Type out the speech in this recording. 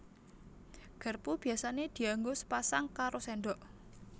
Garpu biyasané dianggo sepasang karo séndok